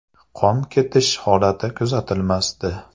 – Qon ketish holati kuzatilmasdi.